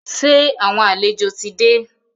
Sẹ́ àwọn àlejò ti dé?